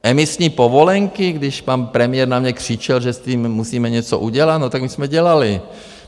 Emisní povolenky - když pan premiér na mě křičel, že s tím musíme něco udělat, no tak my jsme dělali.